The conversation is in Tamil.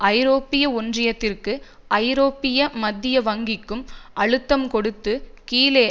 ஐரோப்பிய ஒன்றியத்திற்கு ஐரோப்பிய மத்திய வங்கிக்கும் அழுத்தம் கொடுத்து கிழக்கு